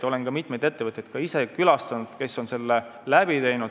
Olen ka ise külastanud mitmeid ettevõtteid, kes on selle läbi teinud.